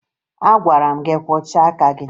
Agwara m gị kwọchaa aka gị!